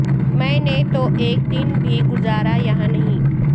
میں نے تو ایک دن بھی گزارا یہاں نہیں